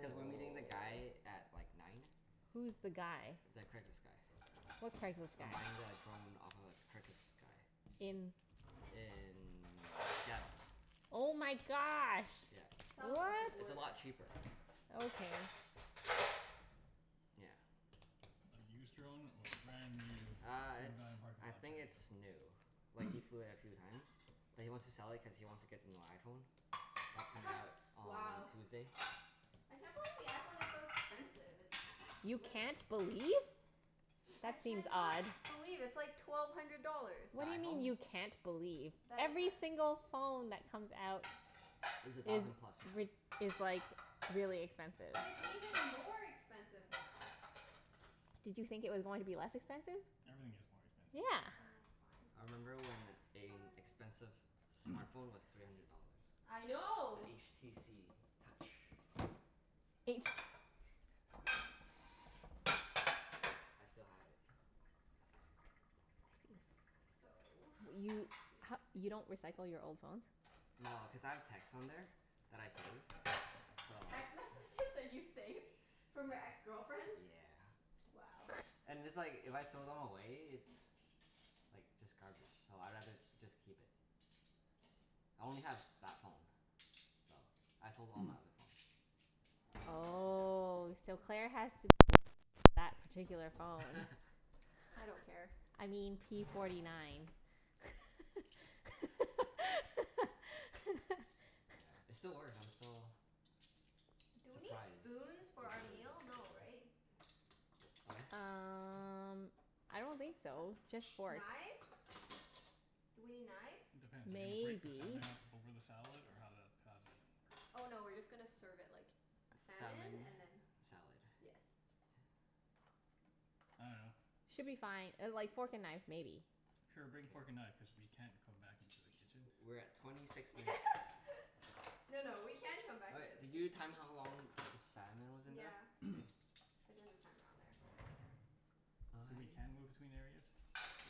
Cuz we're meeting the guy at like nine. Who's the guy? The Craigslist guy. What Craigslist guy? I'm buying the drone off of a Craigslist guy. In In Seattle. Oh my gosh. Yeah, South of the it's What? a border. lot cheaper. Okay. Yeah. A used drone or a brand new Uh from a it's, guy in a parking I lot think kind it's new. of Like he deal? flew it a few times. But he wants to sell it cuz he wants to get the new iPhone. That's coming out on Wow. Tuesday. I can't believe the iPhone is so expensive. It's You literal. can't believe? I That seems can not odd. believe. It's like twelve hundred dollars. The What do you mean iPhone? you can't believe? Every single phone that comes out Is a is thousand plus now. rid- is like really expensive. But it's even more expensive now. Did you think it was going to be less expensive? Everything gets more expensive. Yeah. Oh I fine. remember when a Fine. expensive smart phone was three hundred dollars. I know. The HTC Touch. H? I s- I still have it. So, let's You see. h- you don't recycle your old phones? No, cuz I have texts on there that I save, so. Text messages that you saved from your ex-girlfriends? Yeah. Wow. And it's like, if I throw them away it's like just garbage, so I'd rather just keep it. I only have that phone. So, I sold all my other phones. Oh, so Claire has to that particular phone. Yeah. I don't care. I mean p forty nine. Yeah, it still works, I'm still Do we need surprised spoons for the our battery meal? No, has right? What? Um I don't think so. Just forks. Knives? Do we need knives? Depends. Are you gonna break the Maybe. salmon up over the salad, or how that, how's that gonna Oh work? no, we're just gonna serve it like salmon Salmon. and then. Salad. Yes. I dunno. Should be fine. Uh like fork and knife maybe. Sure, K. bring fork and knife, cuz we can't come back into the kitchen. We're at twenty six minutes. No no, we can come back All right, into the did you kitchen. time how long the salmon was in there? Yeah. K. I did the timer on there. So we can move I between areas?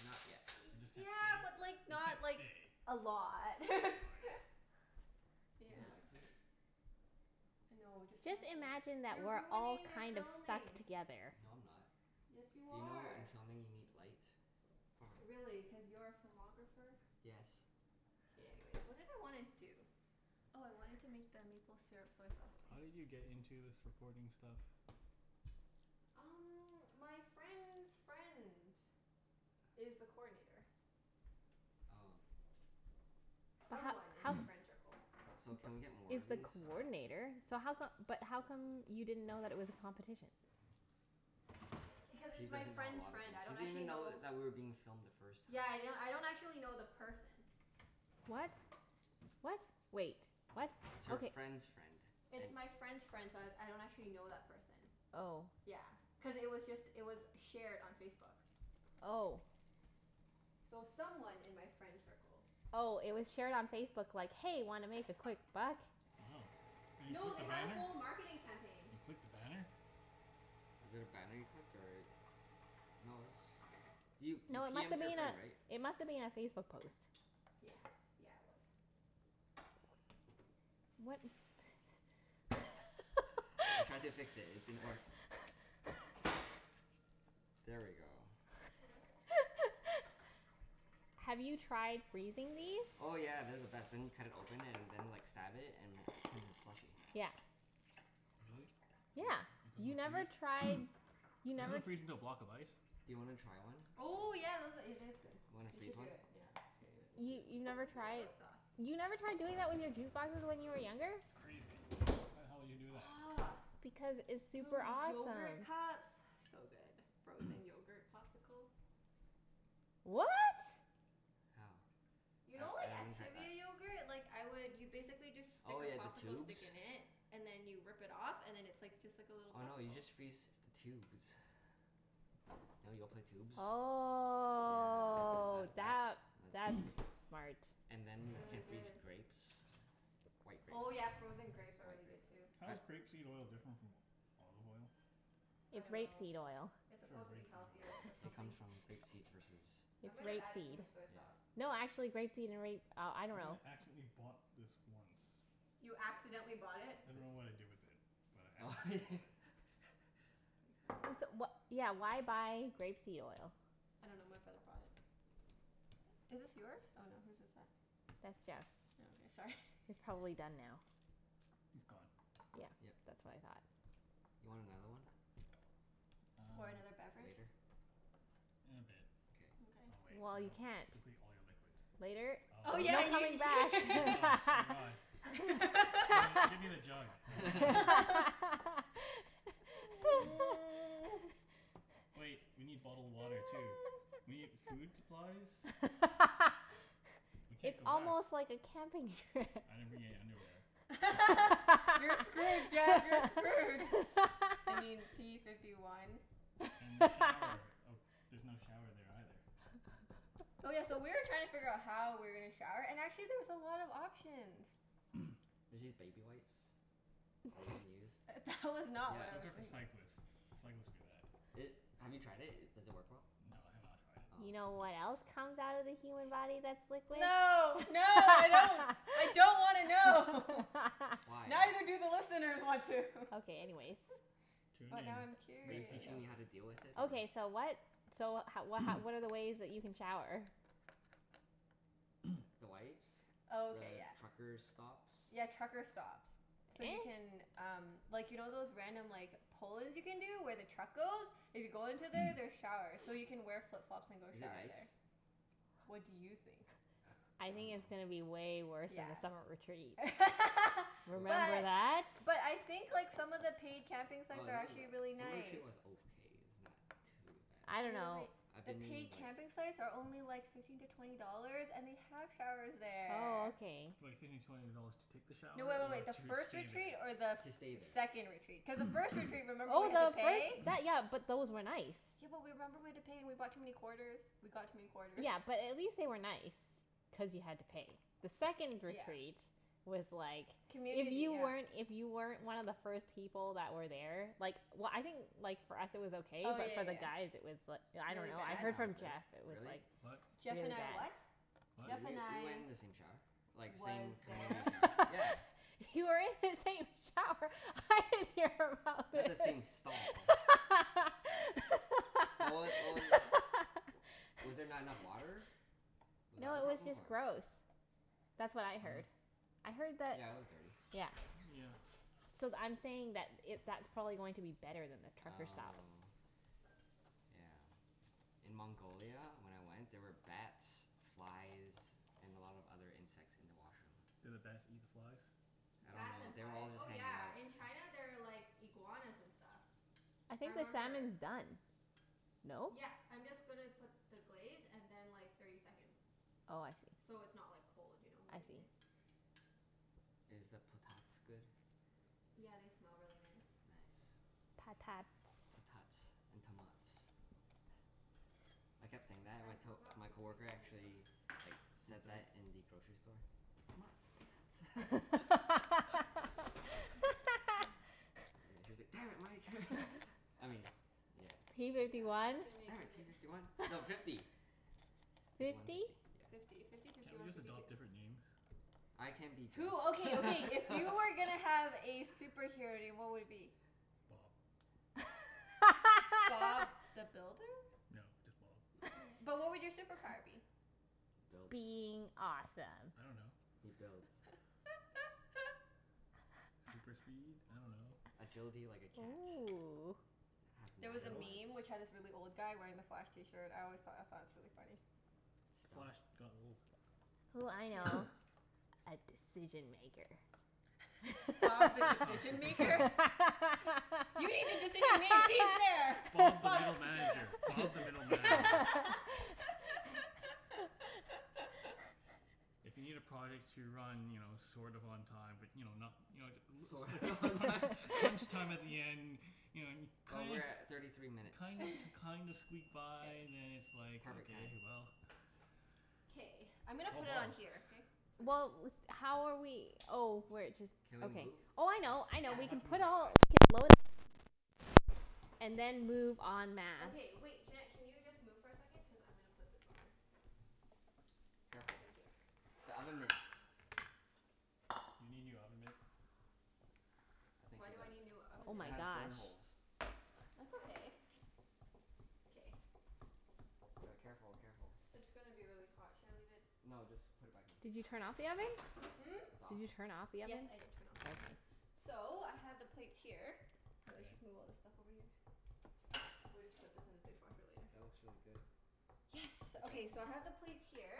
Not yet. We just can't Yeah, stay? but like We just can't not like stay. a lot. Okay. Is Yeah. there lights here? No, just turn Just off the light. imagine that You're we're all ruining their kind of stuck filming. together. No, I'm not. Yes, you You know in are. filming you need light? Really? Cuz you're a filmographer? Yes. Okay, anyways. What did I wanna do? Oh I wanted to make the maple syrup soy sauce thing. How did you get into this recording stuff? Um my friend's friend is the coordinator. Oh. But ho- Someone in my ho- friend tircle. So can we get more he's of the these? coordinator, so how come, but how come you didn't know that it was a competition? Because She it's my doesn't know a friend's lot of friend. things. I She don't didn't even actually know know. that we were being filmed the first time. Yeah yeah, I don't actually know the person. What? What? Wait. What? It's her Okay. friend's friend. It's my friend's friend, so I I don't actually know that person. Oh. Yeah, cuz it was just, it was shared on Facebook. Oh. So someone in my friend circle. Oh, it was shared on Facebook like, "Hey, wanna make a quick buck?" Oh. And you No, clicked they the had a banner? whole marketing campaign. You clicked the banner? Was it a banner you clicked or? No it was, you you No, it p must m'ed have your been friend right? a, it must have been a Facebook post. Yeah. Yeah, it was. What? I tried to fix it. It didn't work. There we go. What? Have you tried freezing these? Oh yeah. They're the best. Then you cut it open and then like stab it and it turns into slushy. Yeah. Really? Yeah. Yep. You It never doesn't tried, freeze? you Doesn't never it freeze into a block of ice? Do you wanna try one? Oh yeah, those a- , it is good. You wanna You freeze should do one? it. Yeah. Let's Okay. do it. We'll You freeze you've one. never Where's my tried? soy sauce? You never tried doing it with your juice boxes when you were younger? Crazy. Why the hell you would do that? Aw, Because it's do it super with awesome. yogurt cups? So good. Frozen yogurt popsicle. What? How? You know I I like haven't tried that. Activia yogurt? Like I would, you basically just stick Oh a yeah, the popsicle tubes? stick in it and then you rip it off and then it's like just like a little Oh no, you popsicle. just freeze the tubes. You know Yoplait tubes? Yeah, Oh that that, that's that's that's smart. And then you can freeze grapes. White grapes. Oh yeah, frozen grapes are White really good grapes. too. How I is grape seed oil different from olive oil? I It's rape dunno. seed oil. It's Sure, supposed to be rape seed healthier or oil. It something. comes from grape seed versus I It's might have rape added too seed. much soy sauce. No, actually grape seed and ra- oh, I dunno. I accidentally bought this once. You accidentally bought it? I dunno Di- what I did with it, but I accidentally bought it. That's pretty funny. So wha- yeah, why buy grape seed oil? I dunno, my brother brought it. Is this yours? Oh no, whose is it? That's Jeff's. Oh okay. Sorry. It's probably done now. It's gone. Yeah. Yep. That's what I thought. You want another one? Or Um another beverage? Later? In a bit. Okay. Mkay. I'll wait. So Well, I you don't can't. deplete all your liquids. Later? Oh Oh my yeah yeah ye- god. Oh my god. Give me give me the jug. Wait. We need bottled water too. We need food supplies. We can't It's go back. almost like a camping trip. I didn't bring any underwear. You're screwed Jeff, you're screwed. I mean p fifty one. And the shower. Oh there's no shower there either. Oh yeah, so we were trying to figure how we were gonna shower and actually there's a lot of options. There's these baby wipes that you can use. That was not what I Those was Yeah. are for think- cyclists. Cyclists do that. It, have you tried it? Does it work well? No, I have not tried it. Oh. You know Hmm. what else comes out of the human body that's liquid? No. No, I don't. I don't wanna know. Why? Neither do the listeners want to. Okay, anyways. Tune But in. now I'm Are you curious. teaching me how to deal with it or? Okay so what, so ho- wh- h- what are the ways that you can shower? The wipes. Oh okay, The yeah. trucker stops. Yeah, trucker stops. So you can um, like you know those random like pull-ins you can do where the truck goes? If you go into there there's showers, so you can wear flip-flops and go Is it shower nice? there. What do you think? I think I it's going to dunno. be way worse Yeah. than the summer retreat. Remember What But that? but I think like some of the paid camping Well, sites are not actually the, really some of the nice. was okay. It's not too bad. I dunno. I've The been in paid like camping sites are only like fifteen to twenty dollars and they have showers Oh there. okay. Like fifteen to twenty dollars to take the shower No, wait wait or wait. The to first stay retreat there? or the To stay th- there. second retreat? Cuz the first retreat remember we Oh had to no, pay? those, that, yeah, but those were nice. Yeah but w- remember we had to pay and we brought too many quarters? We got too many quarters. Yeah, but at least they were nice, cuz you had to pay. The second Yeah. retreat was like, if Community, you yeah. weren't, if you weren't one of the first people that were there Like w- I think like for us it was okay Oh but for yeah the yeah guys it was l- I yeah. Really dunno, I Jeff bad? and heard I was from there. Jeff it was Really? like What? Jeff really and I bad. what? W- Jeff and we went I in the same shower. Like Was same there? community shower. Yeah. You were in the same shower? I didn't hear about Not the this. same stall. But what w- what was, was there not enough water? Was that No, the it was problem? just Or gross. That's what I heard. Oh. I heard that, Yeah, it was dirty. yeah. Yeah. So th- I'm saying that it, that's probably going to be better than the trucker stops. Oh. Yeah. In Mongolia when I went, there were bats, flies, and a lot of other insects in the washroom. Did the bats eat the flies? I don't Bats know. and They were flies? all just Oh hanging out. yeah, in China there are like iguanas and stuff. I I think the remember salmon's done, no? Yep, I'm just gonna put the glaze and then like thirty seconds. Oh, I see. So it's not like cold, you know, when I we eat see. it? Is the potats good? Yeah, they smell really nice. Nice. Patats. Potats and tomats. I kept saying that and I my to- forgot my the green coworker onion though. actually like said that in the grocery store. Tomats. Potats. Yeah, she was like, "Damn it, Mike." I mean, yeah. P Yeah fifty one? Damn give it. P it. fifty one. No, fifty. Fifty one, Fifty? fifty. Yeah. Fifty. Fifty, fifty Can't we one, just fifty two. adopt different names? I can be Jeff. Who, okay, okay, if you were gonna have a superhero name what would it be? Bob. Bob the Builder? No, just Bob. But what would your superpower be? Builds. Being awesome. I don't know. He builds. Super speed? I dunno. Agility like a cat. Ooh. Have There nine was a lives. Stealth? meme which had this really old guy wearing the Flash t-shirt. I always thought, I thought it was really funny. Stealth? Flash got old. Ooh, I know. A decision maker. That's Bob the not a Decision Maker? superpower. You need a decision made? He's there! Bob the Bob's middle manager. Bob the middle manager. If you need a project to run, you know, sort of on time, but you know, not You know t- Sort of l- on t- time? crunch time at the end You know and Oh, kind we're of at thirty three minutes. kind of kind of squeak by then it's like, Perfect okay, timing. well K, I'm gonna Call put it Bob. on here, okay? So just Well, with, how are we oh, we're jus- Can we okay. move Oh I spots? know, I We know, Yep. don't we have can to move put right all, away. we can load up our plates and then move en masse. Okay wait, Junette can you just move for a second? Cuz I'm gonna put this on there. Ah Careful. thank you. The oven mitts. You need new oven mitts? I think Why she do I does. need new oven Oh It mitts? my has burn gosh. holes. That's okay. K. D- careful, careful. It's gonna be really hot. Should I leave it No, just put it back in. Did you turn off the oven? Hmm? It's off? Did you turn off the Yes, oven? I did turn off the oven. So, I have the plates here. Let's just move K. all this stuff over here. We'll just put this in the dishwasher later. That looks really good. Yes. Good job, Okay, team. so I have the plates here.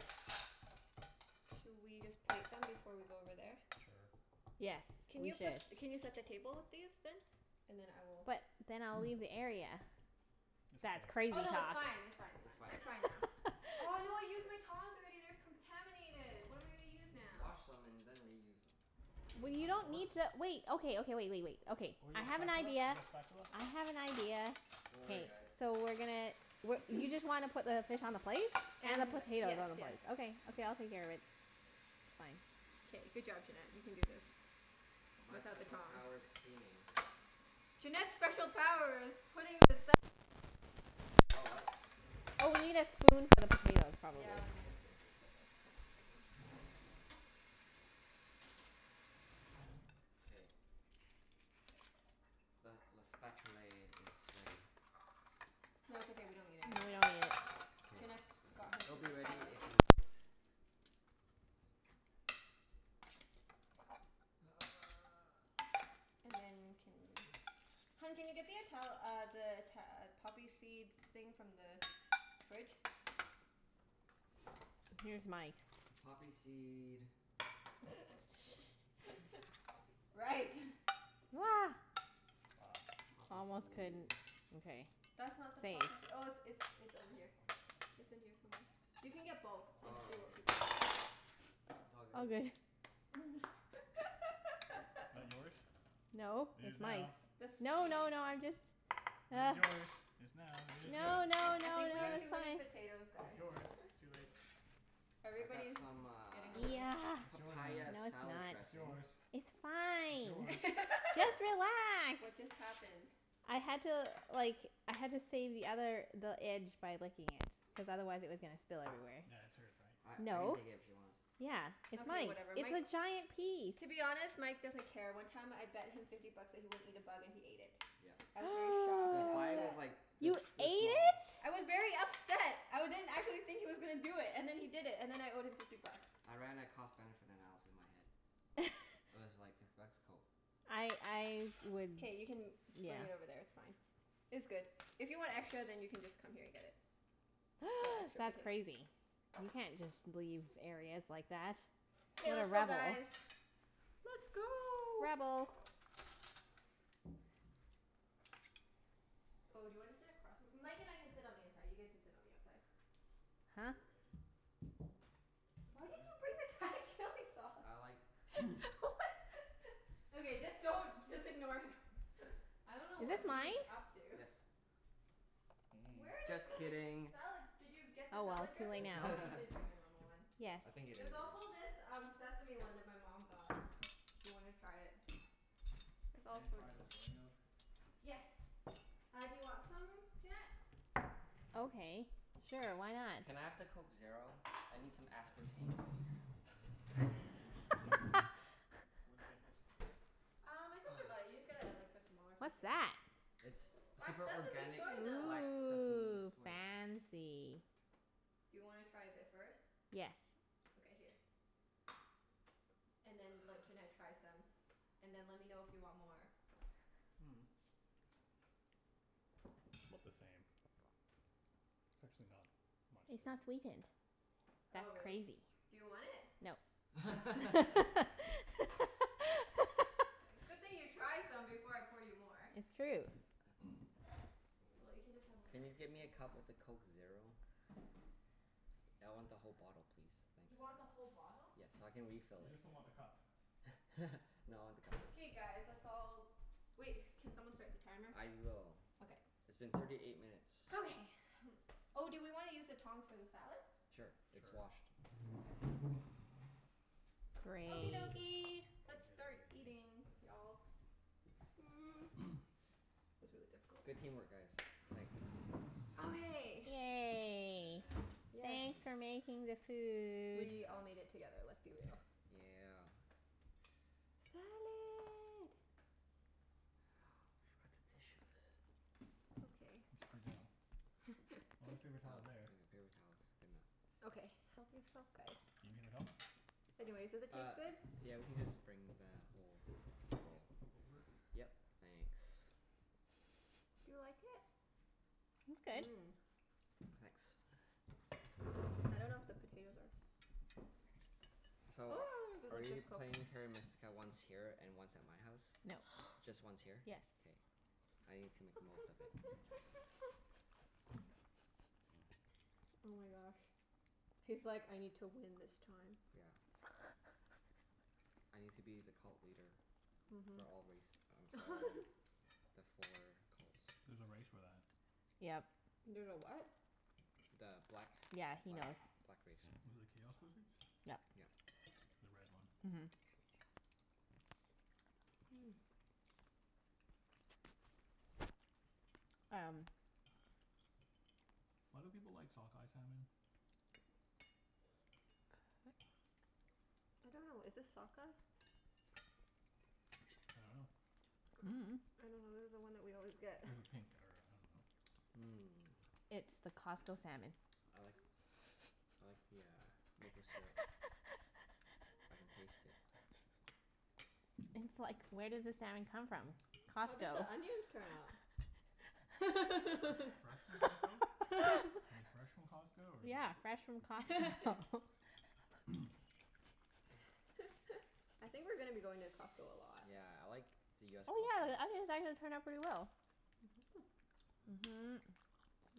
Should we just plate them before we go over there? Sure. Yes, Can we you put, should. can you set the table with these then? And then I will But then I'll leave the area. It's That's okay. crazy Oh no, it's talk. fine, it's fine, it's It's fine. fine. It's fine now. Oh no, I used my tongs already. They're contaminated. What am I gonna use now? Wash them and then reuse them. Well you Two don't forks? need to wait, okay, okay, wait wait wait. Okay. Or you I got a have an spatula? idea. You got a spatula? I have an idea. Don't K. worry guys. So we're gonna w- you just want to put the fish on the plate? And the And, potatoes yes, on the yes. plate? Okay. Okay, I'll take care of it. Fine. K, good job Junette. You can do this. My Without the special tongs. power's cleaning. Junette's special power is putting the salmon on a plate. Oh, what? Oh, we need a spoon for the potatoes probably. Yeah, we need a spoon for the potatoes. Hold on a second. K. Le le spatulay is ready. No, it's okay, we don't need it No, anymore. we don't need it. K. Junette's got her It'll be super ready power. if you need it. And then can, hun can you get the Ital- uh the Ita- uh poppy seeds thing from the fridge? Here's Mike's. Poppy seed Right. Ah. Poppy Almost seed couldn't, okay. That's not the Saved. poppysee- oh it's it's it's over here. It's in here somewhere. You can get both and Oh, see what here. people want. It all All good. good. That yours? No, It is it's now. Mike's. The No, no, no, I'm just It is yours. It's now. It is yours. No, no, I no, think we no, have Yes. it's too many fine. potatoes It's guys. yours. Too late. I got Everybody's some getting uh a little Yeah. It's yours now. papaya No, it's salad not. It's dressing. yours. It's It's fine. yours. Just relax. What just happened? I had to like, I had to save the other, the edge by licking it. Cuz otherwise it was gonna spill everywhere. That's hers, right? I I can No. take it if she wants. Yeah, it's Okay Mike's. whatever. It's Mike, a giant piece. to be honest, Mike doesn't care. One time I bet him fifty bucks that he wouldn't eat a bug and he ate it. Yep. I was very shocked The and fly was upset. like this You ate this small. it? I was very upset. I didn't, I didn't think he was gonna do it, and then he did it. And then I owed him fifty bucks. I ran a cost benefit analysis in my head. It was like, fifty bucks? Cool. I I would, K, you can yeah. bring it over there, it's fine. It's good. If you want extra Yes. then you can just come here and get it. That's crazy. You can't just leave areas like that. Okay What a let's go rebel. guys. Let's go. Rebel. Oh, do you want to sit across from, Mike and I can sit on the inside. You guys can sit on the outside. Huh? Why did you bring the Thai chili sauce? I like chili. What? Okay, just don't, just ignore him. I don't know Is what this he's mine? up to. Yes. Where Mm. did Just the kidding. salad, did you get the Oh well, salad it's too late dressing? now. Oh, you did bring the normal one. Yes. I think it There's is yours. also this um sesame one that my mom got. If you wanna try it. There's Can all I try the sorts of soy milk? Yes. Uh do you want some, Junette? Okay, sure. Why not? Can I have the Coke Zero? I need some aspartame please. It's You this like this one. one? Yes. Where do you get this from? Uh, my sister got it. You just get a like or What's something. that? It's Black super sesame organic soy milk. black sesame Ooh, soy milk. Mmm. fancy. Do you wanna try a bit first? Yes. Okay, here. And then let Junette try some. And then let me know if you want more. Mm. 'Bout the same. It's actually not much It's not different. sweetened. Oh, That's really? crazy. Do you want it? No. I can have it. Good thing you tried some before I poured you more. It's true. Well, you Cool. can just have my Can lemon you tea get me then. a cup with a Coke Zero? I want the whole bottle please. Thanks. You want the whole bottle? Yes, so I can refill You it. just don't want the cup. No, I want the cup too. K guys, let's You want all, it. wait, can someone start the timer? I will. Okay. It's been thirty eight minutes. Okay. Oh, do we wanna use the tongs for the salad? Sure, it's Sure. washed. Okay. Okie Great. dokie, let's start eating y'all. Mm, was really difficult. Good team work guys. Thanks. Okay. Yay. Yay. Yes. Thanks for making the food. We all made Yeah. it together. Let's be real. Yeah. Salad. We forgot the tissues. It's okay. Oh, there's Oh, I got paper paper towels there. towels. Good enough. Okay, help yourself guys. You need paper towel? Anyways, does it Uh, taste good? yeah we can just bring the whole Okay. roll. Over? Yep. Thanks. Do you like it? It's good. Mmm. Thanks. I don't know if the potatoes are So are we playing Terra Mystica once here and once at my house? No. Just once here? Yes. K. I need to make the most of it. Oh my gosh. He's like, "I need to win this time." Yeah. I need to be the cult leader for Mhm. all race or for all the four cults. There's a race for that. Yep. There's a what? The black Yeah, he black knows. black race. The chaos wizards? Yep. Yep. The red one. Mhm. Mm. Um Why do people like sockeye salmon? I don't know. Is this sockeye? I dunno. I don't know. This is the one that we always get. This is pink or I dunno. Mmm. It's the Costco salmon. I like I like the uh maple syrup. I can taste it. It's like, where does the salmon come from? How did Costco. the onions turn out? Fresh fresh from Costco? Are they fresh from Costco or like Yeah, fresh from Costco. I think we're gonna be going to Costco a lot. Yeah, I like the US Oh yeah, the Costco. onions actually turned out pretty well. Mhm.